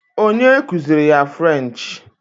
Onye kuziiri ya frenchị